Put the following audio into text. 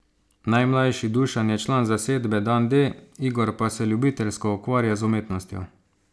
Najmlajši Dušan je član zasedbe Dan D, Igor pa se ljubiteljsko ukvarja z umetnostjo.